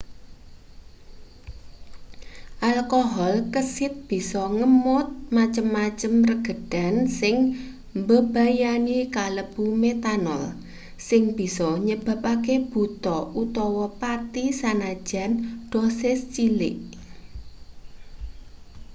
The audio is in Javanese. alkohol kesit bisa ngemot macem-macem regedan sing mbebayani kalebu métanol sing bisa nyebabake buta utawa pati sanajan dosis cilik